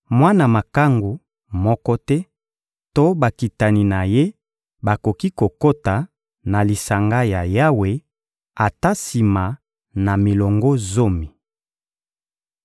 Mwana makangu moko te to bakitani na ye bakoki kokota na lisanga ya Yawe ata sima na milongo zomi.